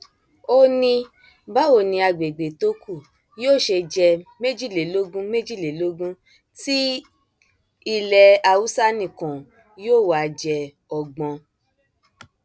ó ní báwo ni àgbègbè tó kù yóò ṣe jẹ méjìlélógún méjìlélógún ti ilẹ haúsá nìkan yóò wáá jẹ ọgbọn